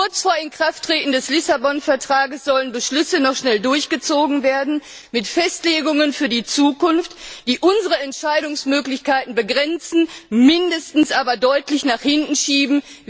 Kurz vor Inkrafttreten des Lissabon Vertrages sollen Beschlüsse noch schnell durchgezogen werden mit Festlegungen für die Zukunft, die unsere Entscheidungsmöglichkeiten begrenzen, mindestens aber deutlich nach hinten schieben.